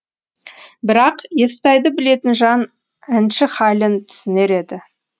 бірақ естайды білетін жан әнші хәлін түсінер еді